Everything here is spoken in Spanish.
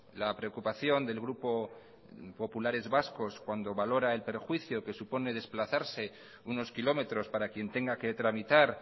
la preocupación del grupo populares vascos cuando valora el perjuicio que supone desplazarse unos kilómetros para quien tenga que tramitar